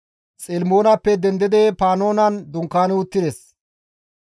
Xelimonappe dendidi Panoonen dunkaani uttides.